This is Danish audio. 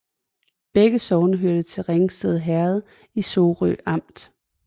Begge sogne hørte til Ringsted Herred i Sorø Amt